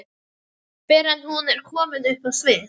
fyrr en hún er komin upp á svið.